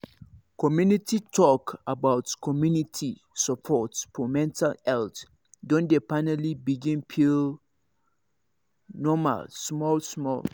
community talk about community support for mental health don dey finally begin feel normal small small